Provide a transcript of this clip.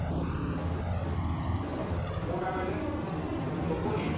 କୋଉଟା କହିଲେ ଶୁଭୁନି?